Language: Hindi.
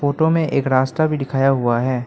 फोटो में एक रास्ता भी दिखाया हुआ है।